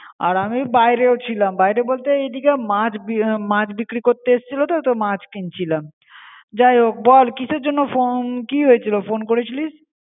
আর আমি বাইরেও ছিলাম. বাইরে বলতে এই দিকে মাছ বি~ মাছ বিক্রি করতে এসছিলো তো মাছ কিনছিলাম. যাইহোক বল কিসের জন্য phone কি হয়েছিলো ফোন করে ছিলি?